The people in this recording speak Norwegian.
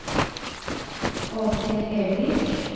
Åshild Ervik